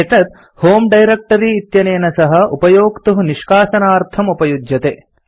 एतत् होमे डायरेक्ट्री इत्यनेन सह उपयोक्तुः निष्कासनार्थम् उपयुज्यते